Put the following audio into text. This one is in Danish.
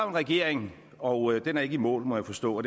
en regering og den er ikke i mål må jeg forstå